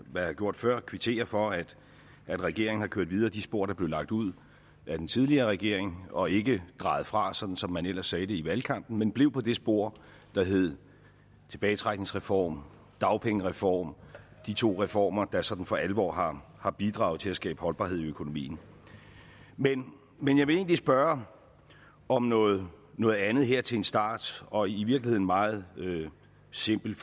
jeg har gjort før kvittere for at regeringen har kørt videre ad de spor der blev lagt ud af den tidligere regering og ikke drejet fra sådan som man ellers sagde det i valgkampen men blev på det spor der hed tilbagetrækningsreform dagpengereform de to reformer der sådan for alvor har har bidraget til at skabe holdbarhed i økonomien men men jeg vil egentlig spørge om noget noget andet her til en start og i virkeligheden meget simpelt